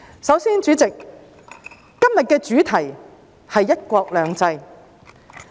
首先，主席，今天的主題是"一國兩制"。